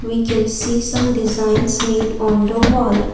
we can see some designs made on the wall.